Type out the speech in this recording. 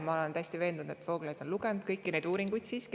Ma olen täiesti veendunud, et Vooglaid on siiski lugenud kõiki neid uuringuid.